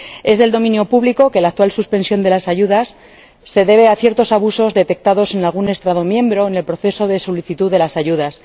Es de dominio público que la actual suspensión de las ayudas se debe a ciertos abusos detectados en algún Estado miembro en el proceso de solicitud de las ayudas.